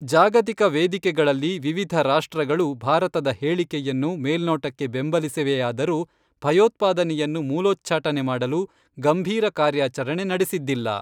ಜಾಗತಿಕ ವೇದಿಕೆಗಳಲ್ಲಿ ವಿವಿಧ ರಾಷ್ಟ್ರಗಳು ಭಾರತದ ಹೇಳಿಕೆಯನ್ನು ಮೇಲ್ನೋಟಕ್ಕೆ ಬೆಂಬಲಿಸಿವೆಯಾದರೂ ಭಯೋತ್ಪಾದನೆಯನ್ನು ಮೂಲೋಛ್ಚಾಟನೆ ಮಾಡಲು ಗಂಭೀರ ಕಾರ್ಯಾಚರಣೆ ನಡೆಸಿದ್ದಿಲ್ಲ.